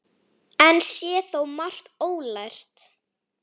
Enn sé þó margt ólært.